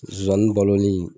Zonzani baloli